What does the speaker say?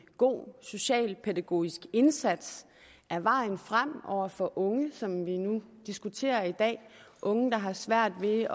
god socialpædagogisk indsats er vejen frem over for unge som vi nu diskuterer i dag unge der har svært ved